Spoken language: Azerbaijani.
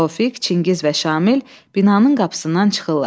Tofiq, Çingiz və Şamil binanın qapısından çıxırlar.